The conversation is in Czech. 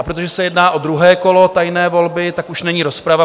A protože se jedná o druhé kolo tajné volby, tak už není rozprava.